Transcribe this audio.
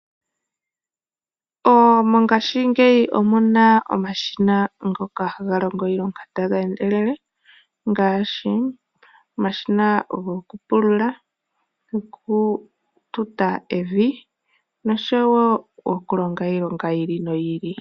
Mongashingeyi omuna omashina ngoka haga longo iilonga taga endelele ngaashi omashina gokupulula, gokututa evi noshowo okulonga iilonga yi ili noyi ili.